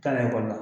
Taa ni ekɔli la